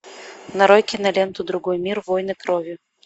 нарой киноленту другой мир войны крови